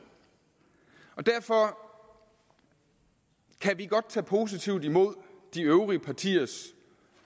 og derfor kan vi godt tage positivt imod de øvrige partiers